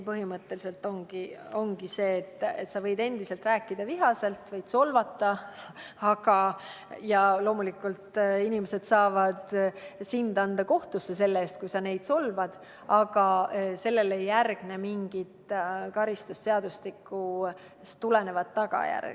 Põhimõtteliselt ongi nii, et sa võid endiselt rääkida vihaselt ja solvata, ja loomulikult saavad inimesed anda sind kohtusse, kui sa neid solvad, aga sellele ei järgne mingisugust karistusseadustikust tulenevat tagajärge.